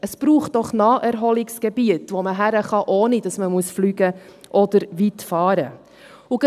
Es braucht doch Naherholungsgebiete, wo man hingehen kann, ohne dass man fliegen oder weit fahren muss.